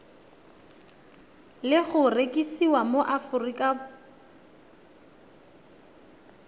le go rekisiwa mo aforika